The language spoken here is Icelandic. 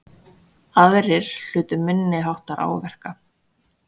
Aðrir hlutu minniháttar áverka